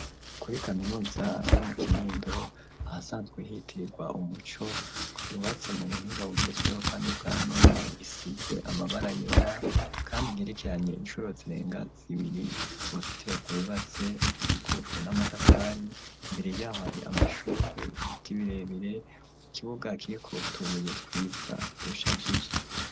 Kuri kaminuza yo mu kinindo ahasanzwe hitirirwa umuco yubatse mu buhinga bugezweho, kandi bwa none isize amabara yera, kandi igirikyanye incurozerenga zibiri urusitiro rw ubatse ukikujwe n'amatafari imbere yaho ari amashurwe ibitibirebire ukibugae kieko tubuye twiza dushajije.